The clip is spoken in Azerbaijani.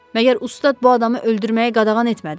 Məgər ustad bu adamı öldürməyə qadağan etmədi?